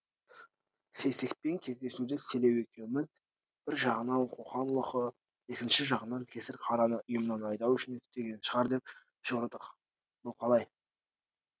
сейсекпен кездесуді селеу екеуміз бір жағынан қоқан лоқы екінші жағынан кесірқараны ұйымнан айдау үшін істеген шығар деп жорыдық бұл қалай